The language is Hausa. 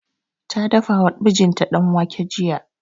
Ta dafa wa mijinta danwake jiya